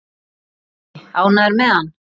Breki: Ánægður með hann?